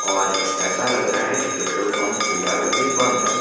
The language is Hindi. और ऐसा लग रहा है कि पेट्रोल पंप फिलहाल अभी बंद है।